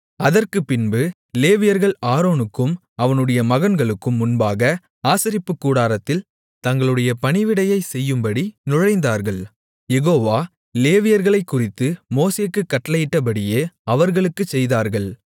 அதற்குப்பின்பு லேவியர்கள் ஆரோனுக்கும் அவனுடைய மகன்களுக்கும் முன்பாக ஆசரிப்புக்கூடாரத்தில் தங்களுடைய பணிவிடையைச் செய்யும்படி நுழைந்தார்கள் யெகோவா லேவியர்களைக்குறித்து மோசேக்குக் கட்டளையிட்டபடியே அவர்களுக்குச் செய்தார்கள்